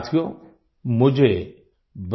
साथियो मुझे Brian D